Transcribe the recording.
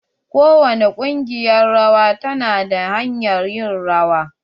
Kowani kungiƴar rawa ta na da hanyar ƴin rawa.